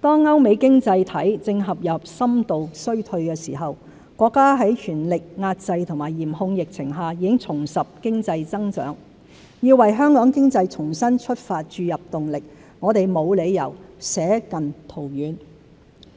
當歐美經濟體正陷入深度衰退時，國家在全力遏制及嚴控疫情下，已重拾經濟增長。要為香港經濟重新出發注入動力，我們沒有理由捨近圖遠。